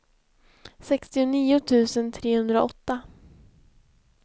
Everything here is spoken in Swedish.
sextionio tusen trehundraåtta